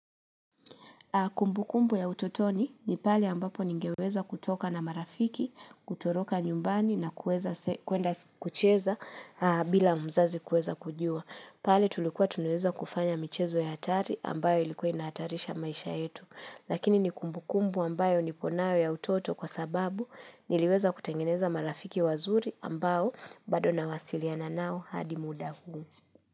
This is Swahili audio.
Kumbukumbu ya utotoni ni pale ambapo ningeweza kutoka na marafiki, kutoroka nyumbani na kuenda kucheza bila mzazi kueza kujua. Pale tulikuwa tunaweza kufanya michezo ya hatari ambayo ilikuwa inahatarisha maisha yetu. Lakini ni kumbukumbu ambayo niko nayo ya utoto kwa sababu niliweza kutengeneza marafiki wazuri ambayo bado nawasiliana nao hadi muda huu.